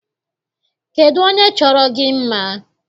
Kedụ onye chọrọ gị mma?